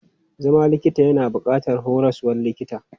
Zama likita yana buƙatar horaswan likita.